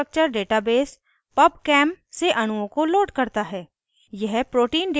यह रासायनिक structure database pubchem से अणुओं को loads करता है